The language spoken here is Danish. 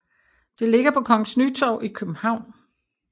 Det ligger på Kongens Nytorv i København